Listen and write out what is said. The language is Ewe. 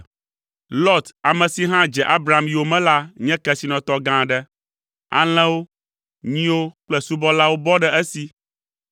Lot ame si hã dze Abram yome la nye kesinɔtɔ gã aɖe: alẽwo, nyiwo kple subɔlawo bɔ ɖe esi.